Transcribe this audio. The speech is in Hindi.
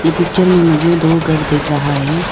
ये पिक्चर में मुझे दो घर दिख रहा है।